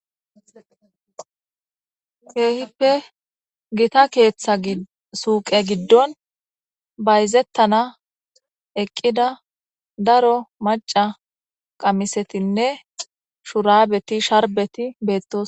keehippe gita keeththa suuqe giddon bayzettana eqqida daro maca qamisetinne shurabeti sharbeti beettos